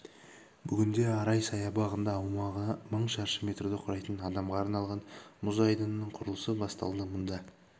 бүгінде арай саябағында аумағы мың шаршы метрді құрайтын адамға арналған мұз айдынының құрылысы басталды мұнда